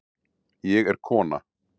Ég er kona